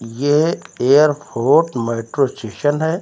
ये airport metro station है।